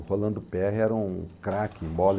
O Rolando Perriot era um craque em bola.